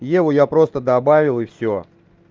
еву я просто добавил и всё